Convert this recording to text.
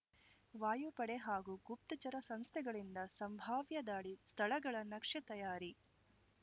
ವಾಯುಪಡೆ ಹಾಗೂ ಗುಪ್ತಚರ ಸಂಸ್ಥೆಗಳಿಂದ ಸಂಭಾವ್ಯ ದಾಳಿ ಸ್ಥಳಗಳ ನಕ್ಷೆ ತಯಾರಿ